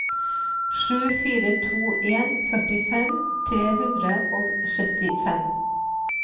sju fire to en førtifem tre hundre og syttifem